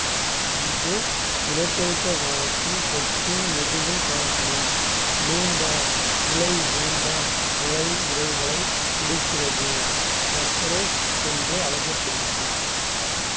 இது இனப்பெருக்க காலத்தில் கொக்கின் முதுகில் காணப்படும் நீண்ட இழை நீண்ட இழை இறகுகளைக் குறிக்கிறது எக்ரெட்ஸ் என்றும் அழைக்கப்படுகிறது